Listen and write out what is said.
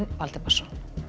Valdimarsson